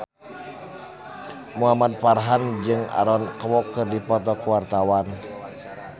Muhamad Farhan jeung Aaron Kwok keur dipoto ku wartawan